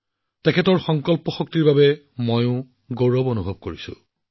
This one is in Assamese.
তেওঁৰ দৃঢ় শক্তিক লৈ গৌৰৱ অনুভৱ কৰিছো